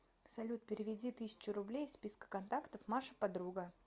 салют переведи тысячу рублей из списка контактов маша подруга